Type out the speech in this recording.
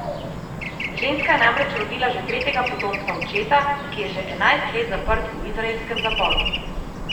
Ženska je namreč rodila že tretjega potomca očeta, ki je že enajst let zaprt v izraelskem zaporu.